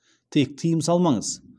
тек тыйым салмаңыз